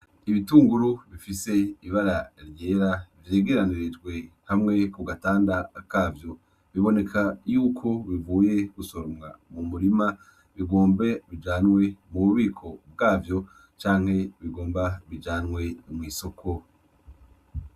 Ibitunguru bifise ibara ryera vyegeranirijwe hamwe ku gatanda kavyo .Biboneka yuko bivuye gusoromwa mu murima bigombe bijanwe mu bubiko bwavyo canke bigomba bijanwe mw'isoko.